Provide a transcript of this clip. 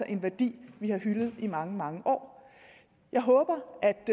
en værdi vi har hyldet i mange mange år jeg håber